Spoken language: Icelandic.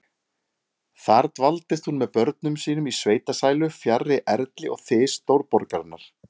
Þar dvaldist hún með börnum sínum í sveitasælu, fjarri erli og þys stórborgarinnar.